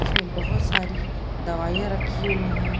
इसमें बहुत सारी दवाइयाँ रखी हुई हैं।